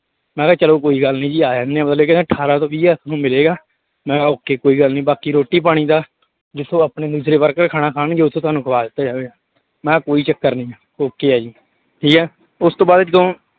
ਮੈਂ ਕਿਹਾ ਚਲੋ ਕੋਈ ਗੱਲ ਨੀ ਜੀ ਆ ਜਾਂਦੇ ਆਂ ਮਤਲਬ ਕਿ ਨਾ ਅਠਾਰਾਂ ਤੋਂ ਵੀਹ ਹਜ਼ਾਰ ਤੁਹਾਨੂੰ ਮਿਲੇਗਾ, ਮੈਂ ਕਿਹਾ okay ਕੋਈ ਗੱਲ ਨੀ ਬਾਕੀ ਰੋਟੀ ਪਾਣੀ ਦਾ ਜਿੱਥੋਂ ਆਪਣੇ ਦੂਸਰੇ worker ਖਾਣਾ ਖਾਣਗੇੇ ਉੱਥੇ ਤੁਹਾਨੂੰ ਖਵਾ ਦਿੱਤਾ ਜਾਵੇਗਾ, ਮੈਂ ਕਿਹਾ ਕੋਈ ਚੱਕਰ ਨੀ okay ਆ ਜੀ ਠੀਕ ਹੈ, ਉਸ ਤੋਂ ਬਾਅਦ ਜਦੋਂ